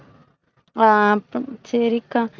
ஆஹ் சரிக்கா.